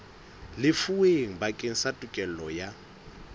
lefuweng bakeng sa tokelo ya